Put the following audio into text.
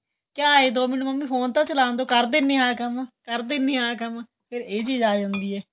ਕਿਹਾ ਏ ਦੋ ਮਿੰਟ ਮੰਮੀ ਫੋਨ ਤਾਂ ਚਲਾਣ ਦੋ ਕਰ ਦਿੰਨੇ ਆਂ ਕੰਮ ਕਰ ਦਿੰਨੇ ਆਂ ਕੰਮ ਫ਼ਿਰ ਏਹ ਚੀਜ ਆਂ ਜਾਂਦੀ ਏ